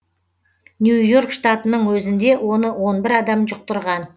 нью и орк штатының өзінде оны он бір адам жұқтырған